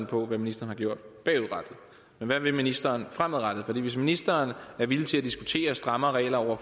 på hvad ministeren har gjort bagudrettet men hvad vil ministeren fremadrettet for hvis ministeren er villig til at diskutere strammere regler over